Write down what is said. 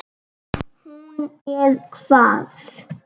Hún er hvað.